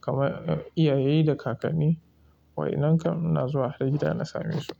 kamar iyaye da kakanni. Wa inan kam na zuwa har gida na same su.